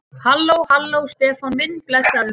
Halló. halló, Stefán minn. blessaður.